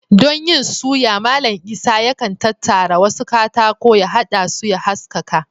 Don yin suya, Mallam Isah yakan tattara wasu katako, ya haɗa su ya haskaka